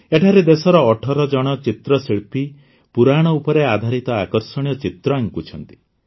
ଏଠାରେ ଦେଶର ୧୮ ଜଣ ଚିତ୍ରଶିଳ୍ପୀ ପୁରାଣ ଉପରେ ଆଧାରିତ ଆକର୍ଷଣୀୟ ଚିତ୍ର ଆଙ୍କୁଛନ୍ତି